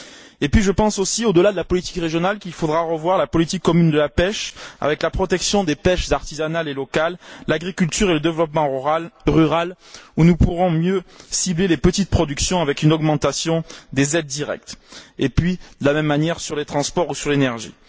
Et je pense aussi, au delà de la politique régionale, qu'il faudra revoir la politique commune de la pêche, avec la protection des pêches artisanale et locale, l'agriculture et le développement rural, en ciblant mieux les petites productions avec une augmentation des aides directes, puis procéder de la même manière pour les transports ou l'énergie.